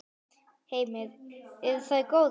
Heimir: Eru þær góðar?